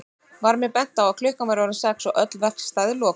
Var mér bent á að klukkan væri orðin sex og öll verkstæði lokuð.